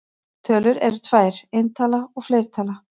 Tölur eru tvær: eintala og fleirtala.